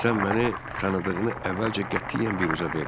Sən məni tanıdığını əvvəlcə qətiyyən biruzə vermə.